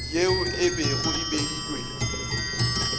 yeo e bego e beilwe